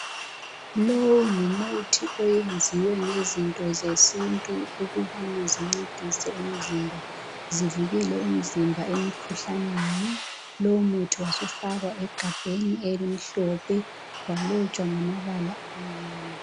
Lowu ngumuthi oyenziwe ngezinto zesintu ukubana zincedise umzimba zivikele umzimba emikhuhlaneni lumuthi wasufakwa egabheni elimhlophe walotshwa ngamabala amnyama.